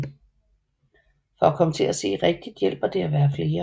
For at komme til at se rigtigt hjælper det at være flere